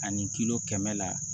Ani kilo kɛmɛ la